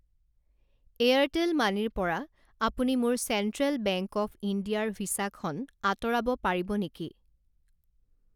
Airtel মানিৰ পৰা আপুনি মোৰ চেণ্ট্ৰেল বেংক অৱ ইণ্ডিয়াৰ ভিছা খন আঁতৰাব পাৰিব নেকি?